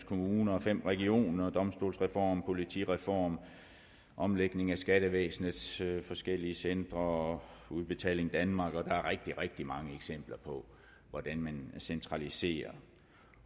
kommuner og fem regioner domstolsreformen politireformen omlægningen af skattevæsenets forskellige centre og udbetaling danmark der er rigtig rigtig mange eksempler på hvordan man centraliserer